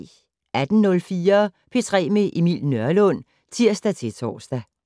18:04: P3 med Emil Nørlund (tir-tor)